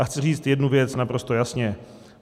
A chci říct jednu věc naprosto jasně.